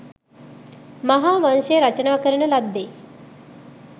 මහා වංශය රචනා කරන ලද්දේ